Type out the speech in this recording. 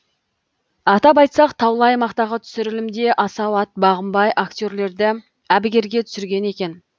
атап айтсақ таулы аймақтағы түсірілімде асау ат бағынбай актерлерді әбігерге түсірген екен